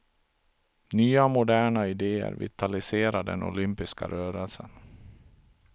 Nya moderna idéer vitaliserar den olympiska rörelsen.